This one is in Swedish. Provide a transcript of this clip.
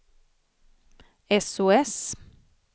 sos